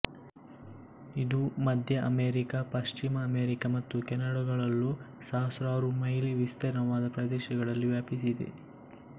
ಇದು ಮಧ್ಯ ಅಮೆರಿಕ ಪಶ್ಚಿಮ ಅಮೆರಿಕ ಮತ್ತು ಕೆನಡಗಳಲ್ಲೂ ಸಹಸ್ರಾರು ಮೈಲಿ ವಿಸ್ತೀರ್ಣವಾದ ಪ್ರದೇಶಗಳಲ್ಲಿ ವ್ಯಾಪಿಸಿದೆ